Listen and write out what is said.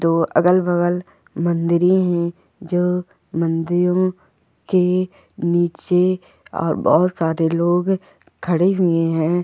दो अगल बगल मंदिरे है जो मंदिरो के निचे और बहुत सारे लोग खडे हुए है।